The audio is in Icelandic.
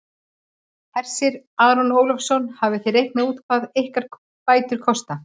Hersir Aron Ólafsson: Hafið þið reiknað út hvað ykkar bætur kosta?